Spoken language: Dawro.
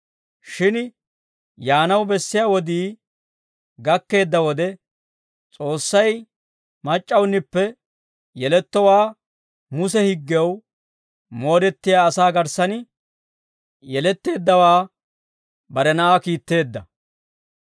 Shin yaanaw bessiyaa wodii gakkeedda wode, S'oossay mac'c'awunippe yelettowaa, Muse higgew moodettiyaa asaa garssan yeletteeddawaa, bare Na'aa kiitteedda.